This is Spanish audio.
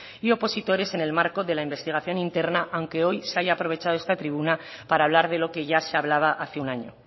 y opositores en el marco de la investigación interna aunque hoy se haya aprovechado esta tribuna para hablar de lo que ya se hablaba hace un año